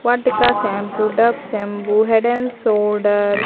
Vatika shampoo Dove shampoo Head and Shoulders --